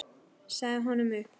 Sagði honum upp.